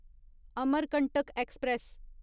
Amarkantak express